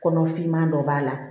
Kɔnɔ finman dɔ b'a la